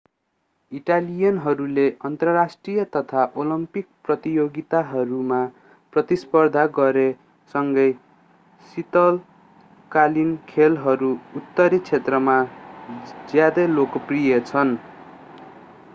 इटालियनहरूले अन्तर्राष्ट्रिय तथा ओलम्पिक प्रतियोगिताहरूमा प्रतिस्पर्धा गरे सँगै शीतकालीन खेलहरू उत्तरी क्षेत्रहरूमा ज्यादै लोकप्रिय छन्